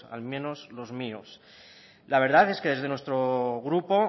al menos los míos la verdad es que desde nuestro grupo